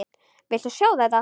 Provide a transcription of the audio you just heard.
Viltu sjá þetta!